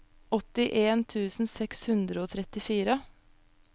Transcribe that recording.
åttien tusen seks hundre og trettifire